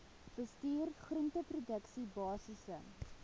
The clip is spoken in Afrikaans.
bestuur groenteproduksie basiese